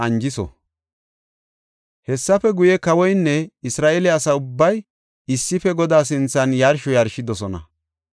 Hessafe guye kawoynne Isra7eele asa ubbay issife Godaa sinthan yarsho yarshidosona.